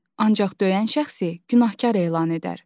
Ancaq döyən şəxsi günahkar elan edər.